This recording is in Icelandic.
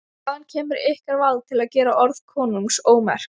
Hvaðan kemur ykkur vald til að gera orð konungs ómerk?